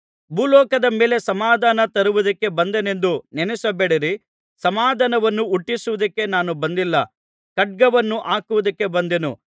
ಭೂಲೋಕದ ಮೇಲೆ ಸಮಾಧಾನ ತರುವುದಕ್ಕೆ ಬಂದೆನೆಂದು ನೆನಸಬೇಡಿರಿ ಸಮಾಧಾನವನ್ನು ಹುಟ್ಟಿಸುವುದಕ್ಕೆ ನಾನು ಬಂದಿಲ್ಲ ಖಡ್ಗವನ್ನು ಹಾಕುವುದಕ್ಕೆ ಬಂದೆನು